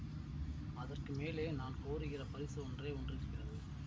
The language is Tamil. அதற்கு மேலே நான் கோருகிற பரிசு ஒன்றே ஒன்று இருக்கிறது